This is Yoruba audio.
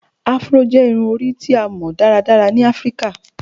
Afro jẹ irun-ori ti a mọ daradara ni Afirika